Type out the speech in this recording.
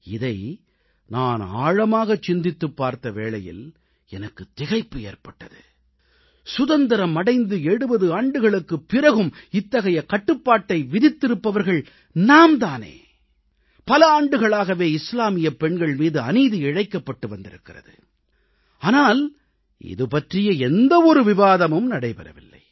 இதை நான் ஆழமாகச் சிந்தித்துப் பார்த்த வேளையில் எனக்குத் திகைப்பு ஏற்பட்டது சுதந்திரம் அடைந்து 70 ஆண்டுகளுக்குப் பிறகும் இத்தகைய கட்டுப்பாட்டை விதித்திருப்பவர்கள் நாம் தானே பல ஆண்டுகளாகவே இஸ்லாமியப் பெண்கள் மீது அநீதி இழைக்கப்பட்டு வந்திருக்கிறது ஆனால் இது பற்றிய எந்த ஒரு விவாதமும் நடைபெறவில்லை